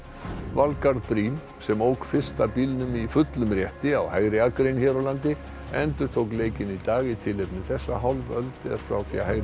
Valgarð Briem sem ók fyrsta bílnum í fullum rétti á hægri akrein hér á landi endurtók leikinn í dag í tilefni þess að hálf öld er frá því að hægri